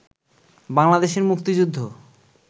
বাংলাদেশের মুক্তিযুদ্ধ